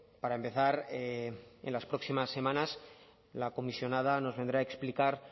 para empezar en las próximas semanas la comisionada nos vendrá a explicar